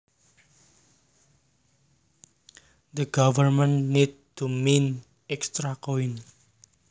The government need to mint extra coins